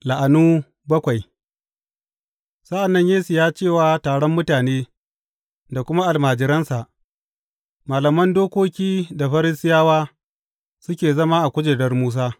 La’anu bakwai Sa’an nan Yesu ya ce wa taron mutane da kuma almajiransa, Malaman dokoki da Farisiyawa suke zama a kujerar Musa.